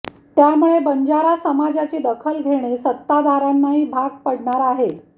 त्यामुळे बंजारा समाजाची दखल घेणे सत्ताधाऱ्यांनाही भाग पडणार आहे